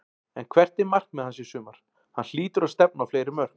En hvert er markmið hans í sumar, hann hlýtur að stefna á fleiri mörk?